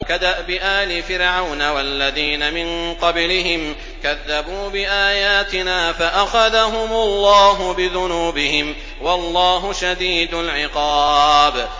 كَدَأْبِ آلِ فِرْعَوْنَ وَالَّذِينَ مِن قَبْلِهِمْ ۚ كَذَّبُوا بِآيَاتِنَا فَأَخَذَهُمُ اللَّهُ بِذُنُوبِهِمْ ۗ وَاللَّهُ شَدِيدُ الْعِقَابِ